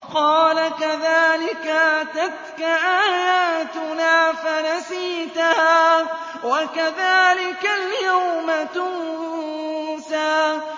قَالَ كَذَٰلِكَ أَتَتْكَ آيَاتُنَا فَنَسِيتَهَا ۖ وَكَذَٰلِكَ الْيَوْمَ تُنسَىٰ